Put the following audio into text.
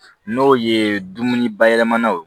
N'o ye dumuni bayɛlɛmanenw ye